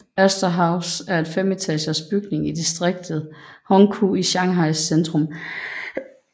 Astor House er en femetagers bygning i distriktet Hongkou i Shanghais centrum